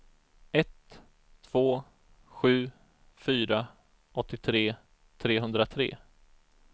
ett två sju fyra åttiotre trehundratre